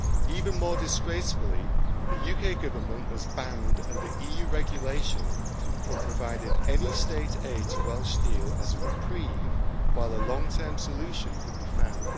Even more disgracefully, the UK Government was banned under EU regulation from providing any state aid to Welsh steel as a reprieve while a long term solution could be found.